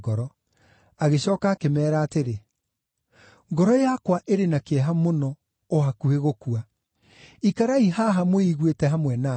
Agĩcooka akĩmeera atĩrĩ, “Ngoro yakwa ĩrĩ na kĩeha mũno, o hakuhĩ gũkua. Ikarai haha mwĩiguĩte hamwe na niĩ.”